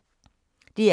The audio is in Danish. DR K